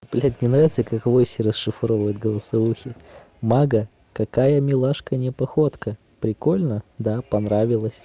блядь мне нравится как в осе расшифровывают голосовухи мага какая милашка не походка прикольно да понравилась